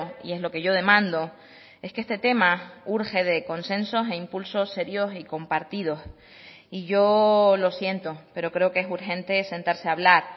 y es lo que yo demando es que este tema urge de consensos e impulsos serios y compartidos y yo lo siento pero creo que es urgente sentarse a hablar